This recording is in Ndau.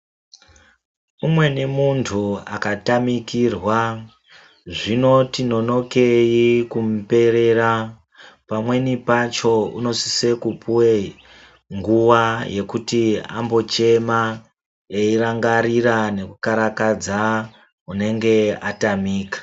Umweni muntu akatamikirwa zvinoti nonokei kumuperera. Pamweni pacho unosisa kupuva nguva yekuti ambochema eirangarira nekukarakadza unenge atamika.